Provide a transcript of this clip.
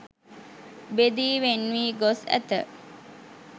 බෙදී වෙන් වී ගොස් ඇත.